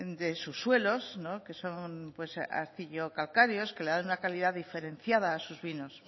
de subsuelos no que son pues el arcillo calcáreos que le dan una calidad diferenciada a sus vinos